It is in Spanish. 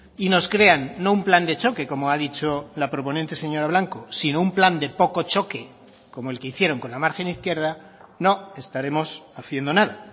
y nos crean no un plan de choque como ha dicho la proponente señora blanco sino un plan de poco choque como el que hicieron con la margen izquierda no estaremos haciendo nada